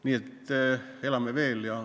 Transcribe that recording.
Nii et elame veel.